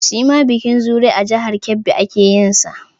Shi ma bikin Zuru a jihar Kebbi ake yin sa